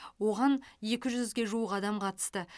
оған ек жүзге жуық адам қатысты